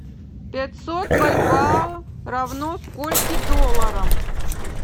пятьсот бальбоа равно скольки долларам